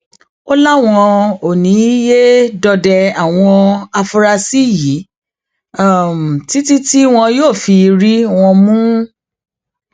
ó láwọn ò ní í yé dọdẹ àwọn afurasí yìí títí tí wọn yóò fi rí wọn mú